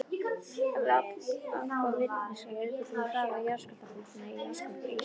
Allgóð vitneskja liggur fyrir um hraða jarðskjálftabylgna í jarðskorpu Íslands.